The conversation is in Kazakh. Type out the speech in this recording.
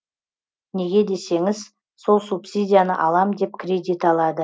неге десеңіз сол субсидияны алам деп кредит алады